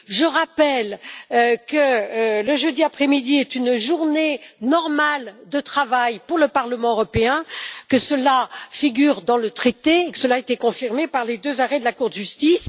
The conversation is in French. Je rappelle que le jeudi après midi est une journée normale de travail pour le Parlement européen, que cela figure dans le traité et a été confirmé par les deux arrêts de la Cour de justice.